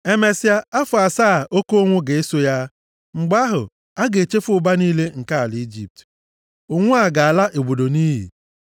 Emesịa afọ asaa oke ụnwụ ga-eso ha. Mgbe ahụ, a ga-echefu ụba niile nke ala Ijipt. Ụnwụ a ga-ala obodo nʼiyi.